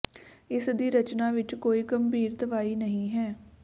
ਇਸ ਦੀ ਰਚਨਾ ਵਿਚ ਕੋਈ ਗੰਭੀਰ ਦਵਾਈ ਨਹੀਂ ਹੈ